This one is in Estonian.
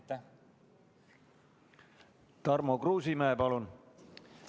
Tarmo Kruusimäe, palun!